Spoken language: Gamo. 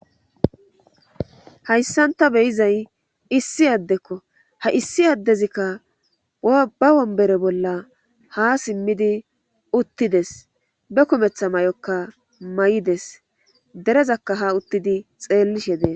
Hayssanta beyizay issi addekko ha issi addezikka ba wonbere bolla ha simmidi uttides be kumetha may'okka may'ides derezakka ha uttidi xeellishe dee.